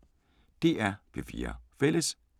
DR P4 Fælles